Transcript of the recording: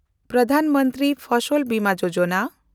Pradhan Mantri Fasal Bima Yojana